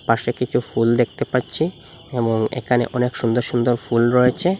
পাশে কিছু ফুল দেখতে পাচ্ছি এবং এখানে অনেক সুন্দর সুন্দর ফুল রয়েছে।